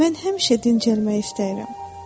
Mən həmişə dincəlmək istəyirəm.